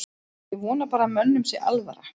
Ég vona bara að mönnum sé alvara.